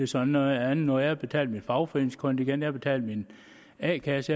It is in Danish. så noget andet jeg har betalt mit fagforeningskontingent jeg har betalt mit a kasse